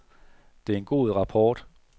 Det er en god rapport.